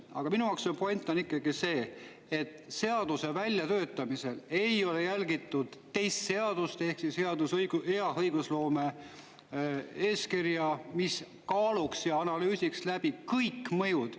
Aga minu jaoks point on ikkagi see, et seaduse väljatöötamisel ei ole järgitud teist seadust ehk hea õigusloome eeskirja, mille kaaluda ja analüüsida läbi kõik mõjud.